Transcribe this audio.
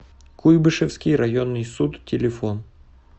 куйбышевский районный суд телефон